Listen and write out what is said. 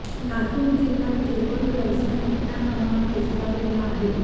लातूर जिल्ह्यात केबल व्यवसाय मोठ्या प्रमाणात विस्तारलेला आहे